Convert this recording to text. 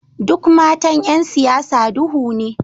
Duk matan ’yan siyasa duhu ne